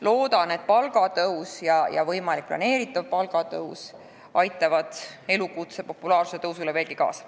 Loodan, et palgatõus aitab elukutse populaarsuse kasvule veelgi kaasa.